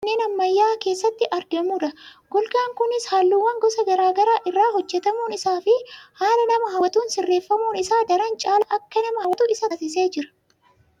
suuraa kana irratti kan arginu kun golgaa manneen ammayya'aa keessatti argamudha. golgaan kunis halluuwwan gosa gara garaa irraa hojjetamuun isaafi haala nama hawwatuun sirreeffamuun isaa daran caalaa akka nama hawwatu isa taasisee jira.